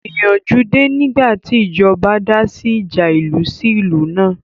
Ìyanjú dé nígbàtí ìjọba dá sí ìjà ìlú sí ìlú náà